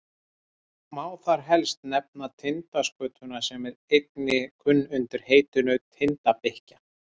má þar helst nefna tindaskötuna sem einnig er kunn undir heitinu tindabikkja